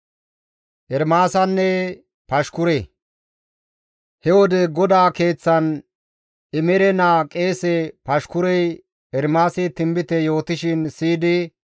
He wode GODAA Keeththan Imere naa qeese Pashkurey Ermaasi tinbite yootishin siyidi,